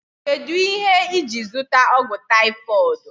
Kedụ ihe iji zụta ọgwụ taifoidu?